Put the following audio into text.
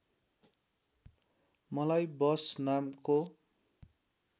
मलाई वष नामको